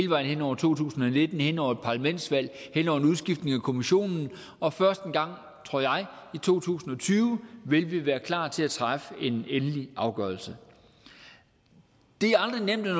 vejen hen over to tusind og nitten hen over et parlamentsvalg og kommissionen og først engang tror jeg i to tusind og tyve vil vi være klar til at træffe en endelig afgørelse det er aldrig nemt at